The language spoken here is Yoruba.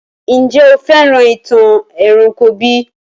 Njẹ̀ o fẹ́ràn ìtàn eranko bi?